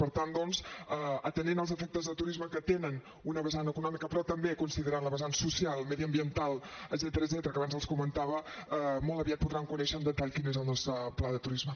per tant doncs atenent als efectes del turisme que tenen una vessant econòmica però també considerant la vessant social mediambiental etcètera que abans els comentava molt aviat podran conèixer en detall quin és el nostre pla de turisme